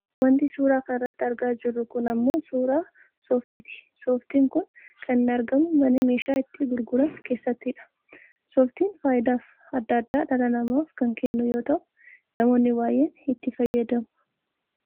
Wanti suuraa kanarratti argaa jiru kun ammoo suuraa sooftiiti. Sooftiin kun kan inni argamu mana meeshaa itti gurguran keessattidha. Sooftiin fayidaa adda addaa dhala namaaf kan kennu yoo ta'u namoonni baayyeen itti fayyadamu.